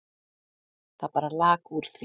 Það bara lak úr því.